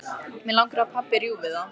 Mig langar að pabbi rjúfi það.